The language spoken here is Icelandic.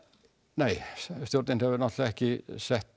nei stjórnin hefur náttúrulega ekki sett